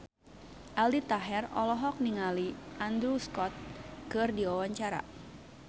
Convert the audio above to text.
Aldi Taher olohok ningali Andrew Scott keur diwawancara